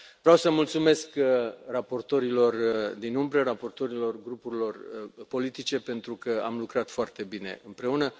Vreau să mulțumesc raportorilor din umbră, raportorilor grupurilor politice, pentru că am lucrat foarte bine împreună.